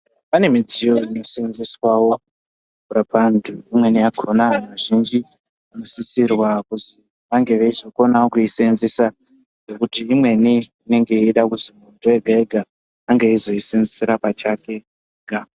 Pane midziyo inoseenzeswawo kurapa antu imweni yakona antu azhinji anosisirwa kunge vachizoziva kuisenzesa ngekuti imweni inenge ichizoda kuti muntu azvishandisire pachake ega.